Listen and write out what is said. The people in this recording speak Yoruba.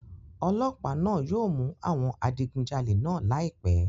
Ọlọ́pàá náà yóò mú àwọn adigunjalè náà láìpẹ́